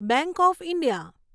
bank of India